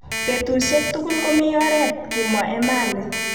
Betusiek tugul komi oret kimwa Emali